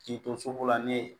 K'i to soko la ne ye